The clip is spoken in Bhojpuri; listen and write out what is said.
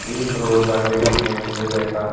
एक रोड बाटे बीचे में से गए बा।